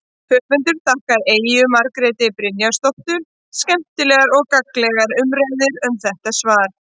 Höfundur þakkar Eyju Margréti Brynjarsdóttur skemmtilegar og gagnlegar umræður um þetta svar.